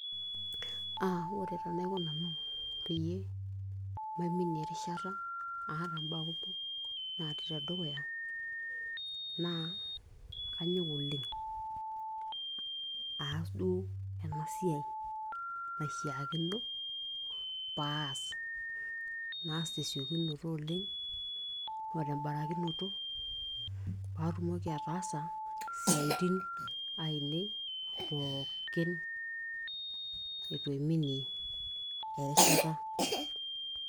aa ore taa enaiko nanu peyie maiminie erishata aata imbaa kumok natii tedukuya naa kanyok oleng aas duo ena siai naishiakino paas naas tesiokinoto oleng o tembarakinoto paatumoki ataasa isiaitin ainei pookinitu aiminie erishata.